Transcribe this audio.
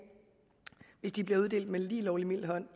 hvis de bliver uddelt med lige lovlig mild hånd